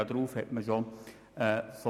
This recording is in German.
Und nun will man umkehren.